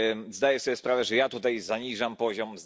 Zdaję sobie sprawę, że ja tutaj zaniżam poziom.